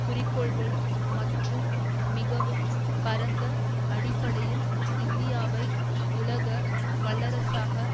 குறிக்கோள்கள் மற்றும் மிகவும் பரந்த அடிப்படையில் இந்தியாவை உலக வல்லரசாக